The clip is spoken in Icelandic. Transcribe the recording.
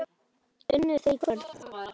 Unnu þeir í kvöld?